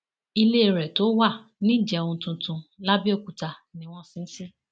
ilé rẹ tó wà nìjẹun tuntun làbẹọkúta ni wọn sin ín sí